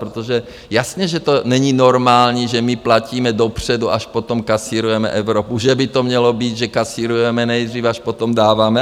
Protože jasně že to není normální, že my platíme dopředu, až potom kasírujeme Evropu, že by to mělo být, že kasírujeme nejdřív, až potom dáváme.